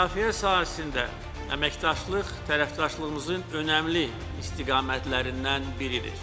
Müdafiə sahəsində əməkdaşlıq tərəfdaşlığımızın önəmli istiqamətlərindən biridir.